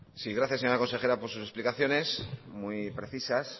gracias señora consejera por sus explicaciones muy precisas